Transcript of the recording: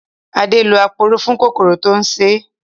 Adé lò aporó fún kòkòrò tó ń ṣé